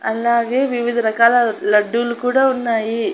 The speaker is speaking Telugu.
అలాగే వివిధరకాల లడ్డులు కూడా ఉన్నాయి.